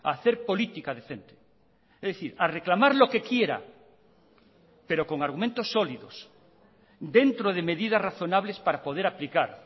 a hacer política decente es decir a reclamar lo que quiera pero con argumentos sólidos dentro de medidas razonables para poder aplicar